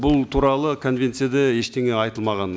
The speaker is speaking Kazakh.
бұл туралы конвенцияда ештеңе айтылмаған